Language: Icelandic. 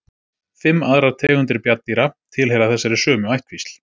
Fimm aðrar tegundir bjarndýra tilheyra þessari sömu ættkvísl.